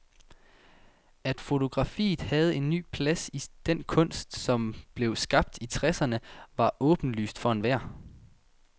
At fotografiet havde en ny plads i den kunst, som blev skabt i tresserne, var åbenlyst for enhver.